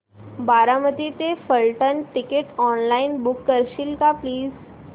बारामती ते Phaltan ticket online book करशील का प्लीज